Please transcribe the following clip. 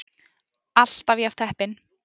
ALLTAF JAFN HEPPINN!